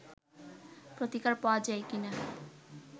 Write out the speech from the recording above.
প্রতিকার পা্ওয়া যায় কিনা